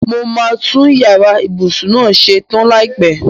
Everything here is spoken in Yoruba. Mo máa tun yàrá ìbùsùn náà ṣe tan láìpẹ.